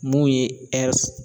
Mun ye